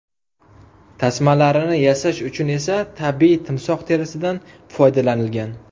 Tasmalarini yasash uchun esa tabiiy timsoh terisidan foydalanilgan.